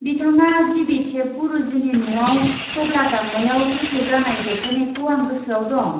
बिथाङा गिबि खेब गुरुजिनि न'आव टब्ला दामनायाव गोसो जानाय देखायनायखौ आं गोसोआव दं।